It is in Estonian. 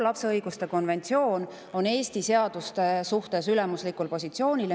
See konventsioon on Eesti seaduste suhtes ülemuslikul positsioonil.